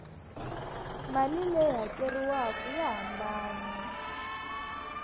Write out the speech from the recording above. mali leyi hakeriwaku ya hambana